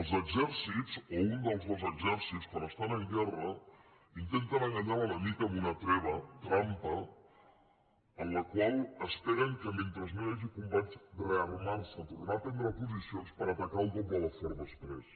els exèrcits o un dels dos exèrcits quan estan en guerra intenten enganyar l’enemic amb una treva trampa en la qual esperen mentre no hi hagi combats rearmar se tornar a prendre posicions per atacar el doble de fort després